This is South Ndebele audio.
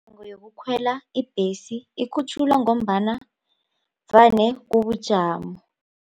Yokukhwela ibhesi ikhutjhulwa ngombana vane kubujamo.